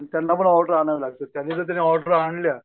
त्यांना पण ऑर्डर आणावं लागतं त्यांनी जर ऑर्डर आणल्या